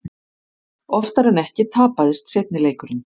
Oftar en ekki tapaðist seinni leikurinn.